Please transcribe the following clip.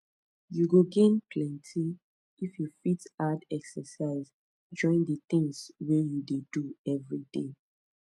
you go gain plenty if you fit add exercise join the things wey you dey do everyday